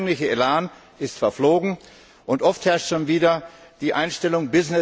Der anfängliche Elan ist verflogen, und oft herrscht schon wieder die Einstellung